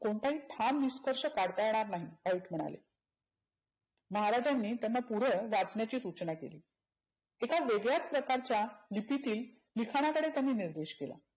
कोणताही ठाम निष्कर्श काढता येणार नाही, व्हाईट म्हणाले. महाराजांनी त्यांना पुढ वाचण्याची सुचना केली. एका वेगळ्याच प्रकारच्या लिपीतील लिखानाकडे त्याने निर्देश केला.